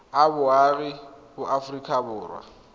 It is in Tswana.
a boagi ba aforika borwa